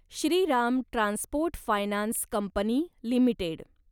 Shriram transport finance company limited